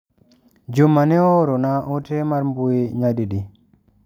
Juma ne ooro na ote mar mbui nyadi di.